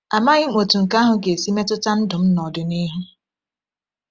Amaghị m otú nke ahụ ga-esi metụta ndụ m n’ọdịnihu.